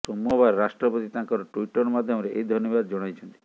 ସୋମବାର ରାଷ୍ଟ୍ରପତି ତାଙ୍କ ଟ୍ବିଟର ମାଧ୍ୟମରେ ଏହି ଧନ୍ୟବାଦ ଜଣାଇଛନ୍ତି